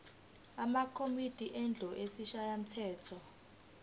amakomidi endlu yesishayamthetho